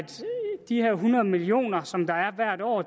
de her hundrede million kr som der er hvert år